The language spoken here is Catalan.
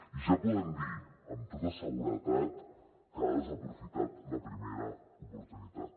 i ja podem dir amb tota seguretat que ha desaprofitat la primera oportunitat